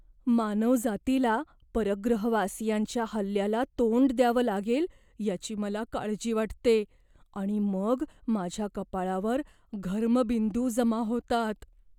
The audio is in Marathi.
मानवजातीला परग्रहवासियांच्या हल्ल्याला तोंड द्यावं लागेल याची मला काळजी वाटते आणि मग माझ्या कपाळावर घर्मबिंदू जमा होतात.